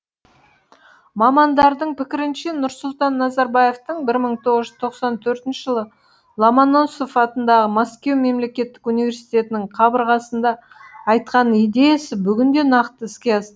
мамандардың пікірінше нұрсұлтан назарбаевтың бір мың тоғыз жүз тоқсан төртінші жылы ломоносов атындағы мәскеу мемлекеттік униерситетінің қабырғасында айтқан идеясы бүгінде нақты іске